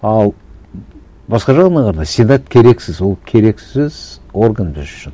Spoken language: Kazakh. ал басқа жағынан қарағанда сенат керексіз ол керексіз орган біз үшін